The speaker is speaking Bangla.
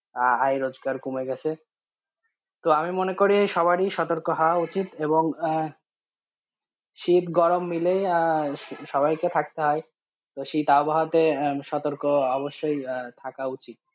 আয় রোজগার কমে গেছে তো আমি মনে করি সবারই সতর্ক হাওয়া উচিত এবং আঃ শীত গরম মিলেই আঃ সবাই কে থাকতে হয়, তো শীত আবহাওয়াতে সতর্ক অবশই থাকা উচিত।